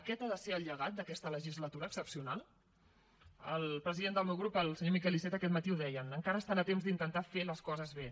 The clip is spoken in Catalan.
aquest ha de ser el llegat d’aquesta legislatura excepcional el president del meu grup el senyor miquel iceta aquest matí ho deia encara són a temps d’intentar fer les coses bé